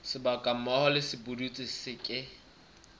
sebaka moo sepudutsi se ke